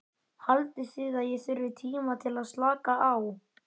Haldið þið að ég þurfi tíma til að slaka á?